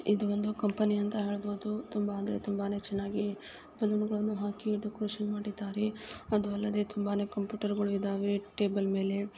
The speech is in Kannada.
ಇದು ಒಂದು ಕಂಪೆನಿ ಅಂತ ಹೇಳಬಹುದು ತುಂಬಾ ಅಂದರೆ ತುಂಬಾನೇ ಚೆನ್ನಾಗಿ ಬಲ್ಲೋನ್ ಹಾಗಿ ಡೆಕೊರೇಷನ್ ಮಾಡಿದಾರೆ ಅದು ಅಲ್ಲದೆ ತುಂಬಾನೇ ಕಂಪ್ಯೂಟರ್ ಗಳು ಇದಾವೆ ಟೇಬಲ್ ಮೇಲೆ.